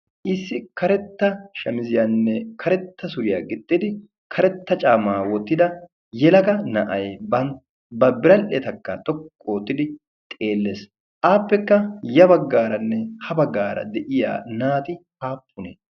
Issi karetta shamiziyanne karetta suriya gixxidi karetta caammaa wottida yelaga na"ayi ba biradhetakka xoqqu oottidi xeelles. Appekka ya baggaaranne ha baggaara de"iya naati aappunee?